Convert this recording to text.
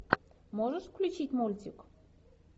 можешь включить мультик